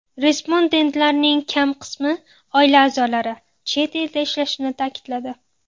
Respondentlarning kam qismi oila a’zolari chet elda ishlashini ta’kidladi.